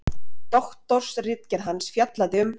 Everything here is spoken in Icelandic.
Doktorsritgerð hans fjallaði um